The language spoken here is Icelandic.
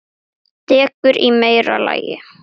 Dekur í meira lagi.